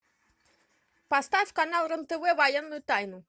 поставь канал рен тв военную тайну